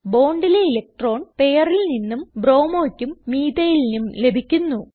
Bondലെ electron പെയറിൽ നിന്നും Bromoക്കും methylനും ലഭിക്കുന്നു